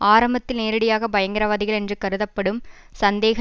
ஆரம்பத்தில் நேரடியாக பயங்கரவாதிகள் என்று கருதப்படும் சந்தேக